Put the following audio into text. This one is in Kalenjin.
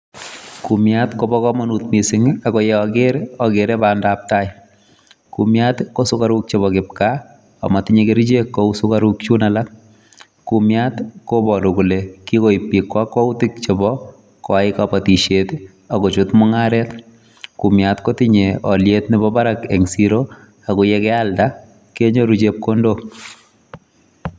Kumiat kobo kamanut mising ako ye aker akere bandabtai, kumiat ko sugaruk chebo kipkaa ak matinye kerichek kou sugaruk chun alak, kumiat koboru kole kikoip piik kakwautik chebo koyai kabatisiet ii akochut mungaret, kumiat kotinye aliet nebo barak eng siro ako ye kialda kenyoru chepkondok.